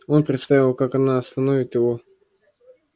он представил как она остановит его